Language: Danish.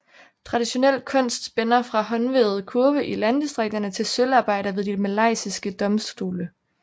Traditionel kunst spænder fra håndvævede kurve i landdistrikterne til sølvarbejder ved de malaysiske domstole